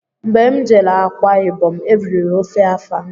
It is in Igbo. Mgbé m jere Akwa ibom, eriri ofe afang